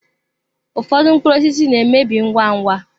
Ụfọdụ mkpụrụ osisi na-emebi ngwa ngwa.